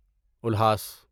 الہاس